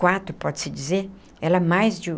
Quatro, pode-se dizer, ela mais de